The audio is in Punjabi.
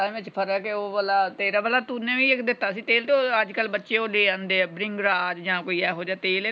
ਫ਼ਰਕ ਹੈ ਉਹ ਵਾਲਾ ਤੇਰਾ ਵਾਲਾ ਤੁਨੇ ਵੀ ਇਕ ਦਿਤਾ ਸੀ ਤੇਲ ਤੇ ਉਹ ਅੱਜਕਲ ਬੱਚੇ ਉਹ ਲੈ ਆਂਦੇ ਆ bringraj ਯਾਂ ਕੋਈ ਇਹੋ ਜੇਹਾ ਤੇਲ ਆ।